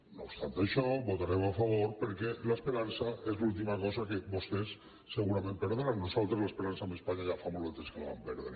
no obstant això hi votarem a favor perquè l’esperança és l’última cosa que vostès segurament perdran nosal·tres l’esperança amb espanya ja fa molt de temps que la vam perdre